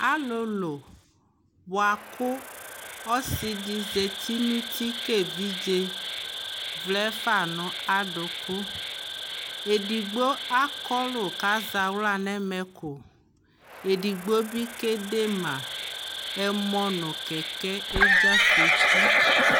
alolo boa ko ɔsi di zati no uti ko evidze vlɛ fa no adoko edigbo akɔlu ko azɛ ala no ɛmɛko edigbo bi ke de ma ɛmɔ no kɛkɛ edze afoku